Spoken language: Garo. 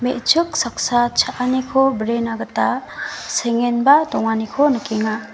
me·chik saksa cha·aniko brena gita sengenba donganiko nikenga.